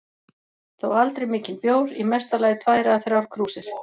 Þó aldrei mikinn bjór, í mesta lagi tvær eða þrjár krúsir.